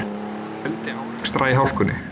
Fjöldi árekstra í hálkunni